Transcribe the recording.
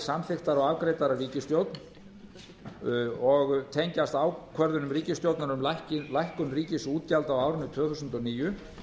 samþykktar og afgreiddar af ríkissjóð og tengjast ákvörðunum ríkisstjórnarinnar um lækkun ríkisútgjalda á árinu tvö þúsund og níu